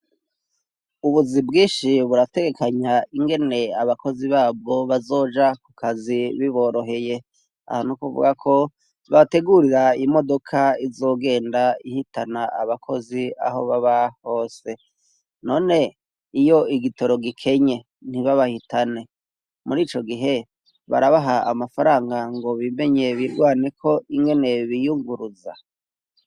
Ubuzi bwinshi burategekanya ingene abakozi babwo bazoja ku kazi biboroheye, aha nukuvuga ko babategurira imodoka izogenda ihitana abakozi aho baba hose ,none iyo igitoro gikenye, ntibabahitane murico gihe, barabaha amafaranga ngo bimenye bigwaneko ingene biyunguruza?